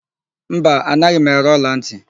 Mba, anaghị m ere ọlantị.